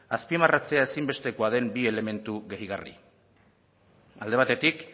azpimarratzea ezinbestekoa den bi elementu gehigarri alde batetik